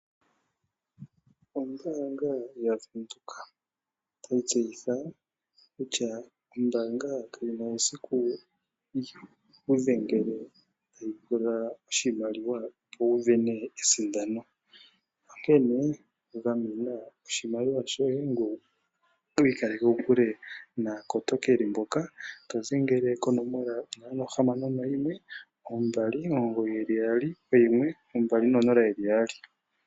Ombaanga yobank Windhoek otatseyitha kutya ombaanga kayina esiku yikudhengele tayi kupula omauyelele giye gombaanga, opo wu sindane oshimaliwa shontumba onkene gamena oshimaliwa shoye ngoye wiikaleke kokule naakotokeli mboka haya kengelele aantu, dhengela konomola ndji 061 229 1200.